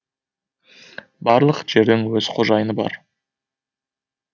барлық жердің өз қожайыны бар